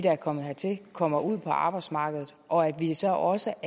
er kommet hertil kommer ud på arbejdsmarkedet og at vi så også